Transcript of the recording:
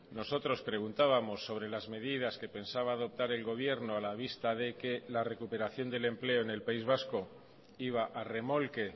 nosotros preguntábamos sobre las medidas que pensaba adoptar el gobierno a la vista de que la recuperación del empleo en el país vasco iba a remolque